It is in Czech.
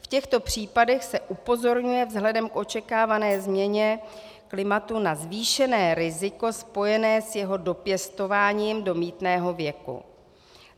V těchto případech se upozorňuje vzhledem k očekávané změně klimatu na zvýšené riziko spojené s jeho dopěstováním do mýtného věku.